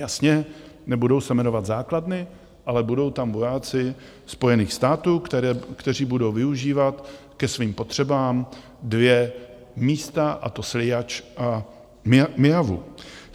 Jasně, nebudou se jmenovat základny, ale budou tam vojáci Spojených států, kteří budou využívat ke svým potřebám dvě místa, a to Sliač a Myjavu.